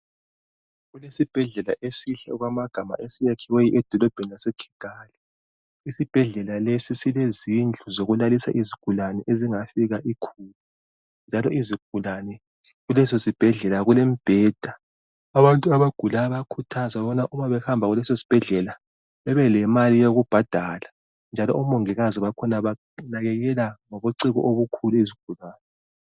Kulesibhedlela esihle okwamagama esiyakhiweyo edolobheni laseKigali isibhedlela lesi silezindlu zokulalisa izigulani ezingafika ikhulu njalo izigulani kuleso sibhedlela kulemibheda abantu abagulayo bayakhuthazwa ukubana uma behamba kulesosibhedlela bebelemali yokubhadala njalo omongikazi bakhona banakekela ngobugciki obukhulu izigulani.